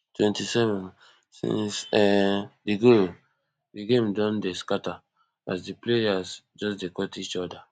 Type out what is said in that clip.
twenty-sevensince um di goal di game don dey scata as di players just dey cot each oda